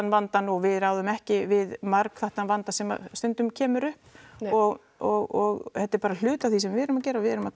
vandann og við ráðum ekki við margþættan vanda sem stundum kemur upp og og þetta er bara hluti af því sem við erum að gera við erum að